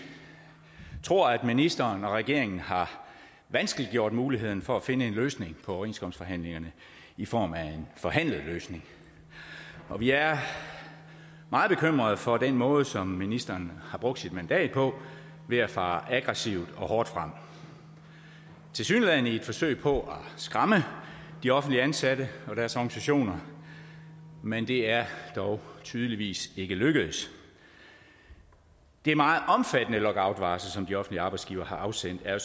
tror at ministeren og regeringen har vanskeliggjort muligheden for at finde en løsning på overenskomstforhandlingerne i form af en forhandlet løsning og vi er meget bekymrede for den måde som ministeren har brugt sit mandat på ved at fare aggressivt og hårdt frem tilsyneladende i et forsøg på at skræmme de offentligt ansatte og deres organisationer men det er dog tydeligvis ikke lykkedes det meget omfattende lockoutvarsel som de offentlige arbejdsgivere har afsendt er